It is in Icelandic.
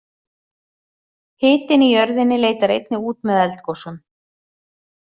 Hitinn í jörðinni leitar einnig út með eldgosum.